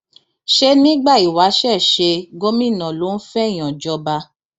ṣé nígbà ìwáṣẹ ṣe gómìnà ló ń fẹẹyàn jọba